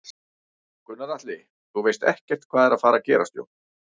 Gunnar Atli: Þú veist ekkert hvað er að fara gerast Jón?